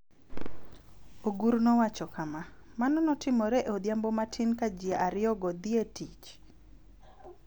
Ogur nowacho kama: �Mano notimore e odhiambo matin ka ji ariyogo dhi e tich.�